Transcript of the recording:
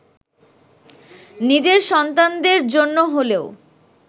নিজের সন্তানদের জন্য হলেও